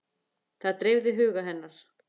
Það dreifði huga hennar.